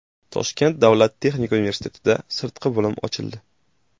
Toshkent davlat texnika universitetida sirtqi bo‘lim ochildi.